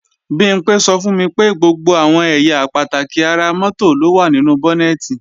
Bimpé sọ fún mi pé gbogbo àwọn ẹ̀yà pàtàkì ara mọ́tò ló wà nínú bọ́nẹ̀tì